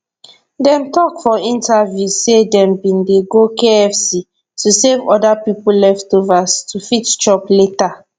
dem tok for interviews say dem bin dey go kfc to save oda pipo leftovers to fit chop later